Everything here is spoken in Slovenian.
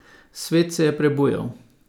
Svet se je prebujal.